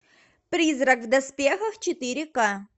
призрак в доспехах четыре ка